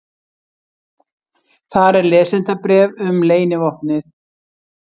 Þar er lesendabréf um leynivopnið.